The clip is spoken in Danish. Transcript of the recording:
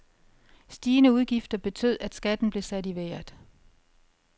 Stigende udgifter betød, at skatten blev sat i vejret.